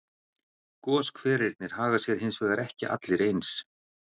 Goshverirnir haga sér hins vegar ekki allir eins.